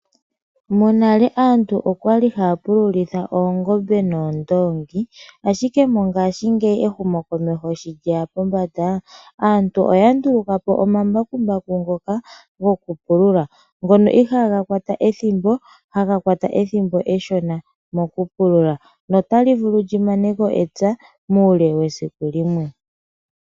Monale aantu okwali haya pulitha oongombe noondoongi ashike mongaashingeyi ehumokomeho sho lyeya pombanda go kupulula ngono ihaga kwata ethimbo eshona mo kupulula notali vulu limaneko epya muule wesiku limwe